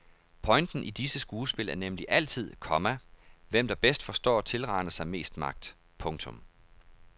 Pointen i disse skuespil er nemlig altid, komma hvem der bedst forstår at tilrane sig mest magt. punktum